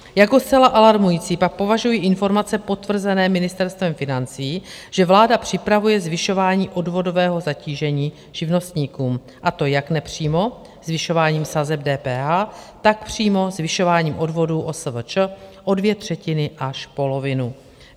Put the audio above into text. "Jako zcela alarmující pak považuji informace potvrzené ministerstvem financí, že vláda připravuje zvyšování odvodového zatížení živnostníkům, a to jak nepřímo zvyšováním sazeb DPH, tak přímo zvyšováním odvodů OSVČ o dvě třetiny až polovinu.